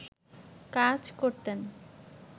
কাজ করতেন